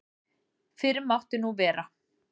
Fyrr mátti nú vera!